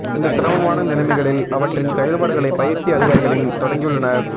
இந்த சிரமமான நிலைமைகளில் அவற்றின் செயல்பாடுகளை பயிற்சி அதிகாரிகளின் தொடங்கியுள்ளனர்